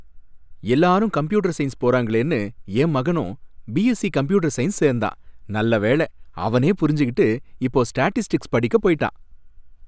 எல்லாரும் computer science போறாங்களேன்னு என் மகனும் பிஎஸ்சி கம்ப்யூட்டர் சயின்ஸ் சேர்ந்தான், நல்லவேள அவனே புரிஞ்சுகிட்டு இப்போ ஸ்டேடிஸ்டிக்ஸ் படிக்கப் போயிடான்.